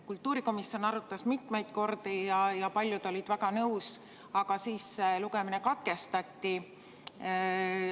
Kultuurikomisjon arutas seda mitmeid kordi ja paljud olid väga nõus, aga siis lugemine katkestati.